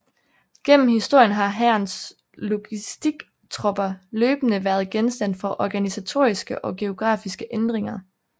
Gennem historien har Hærens logistiktropper løbende været genstand for organisatoriske og geografiske ændringer